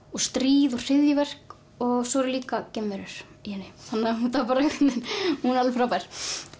og stríð og hryðjuverk og svo eru líka geimverur í henni hún er alveg frábær